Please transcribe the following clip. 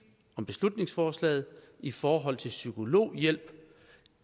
om beslutningsforslaget i forhold til psykologhjælp